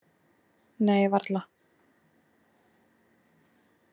Nei, varla.